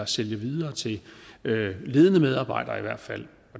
sælge videre til ledende medarbejdere i hvert fald